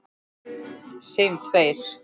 Segjum tveir.